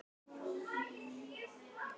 Þau leiddust eins og ungir elskendur út í bíl.